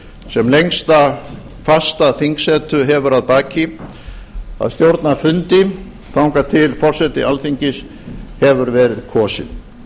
sem lengsta fasta þingsetu hefur að baki að stjórna fundi þangað til forseti alþingis hefur verið kosinn